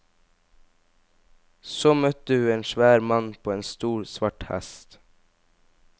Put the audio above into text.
Så møtte hu en svær mann på en stor svart hest.